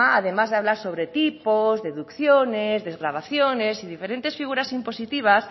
además de hablar sobre tipos deducciones desgravaciones y diferentes figuras impositivas